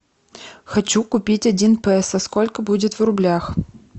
хочу купить один песо сколько будет в рублях